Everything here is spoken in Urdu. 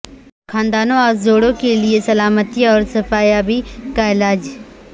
خاندانوں اور جوڑوں کے لئے سلامتی اور شفایابی کا علاج